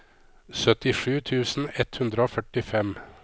syttisju tusen ett hundre og førtifem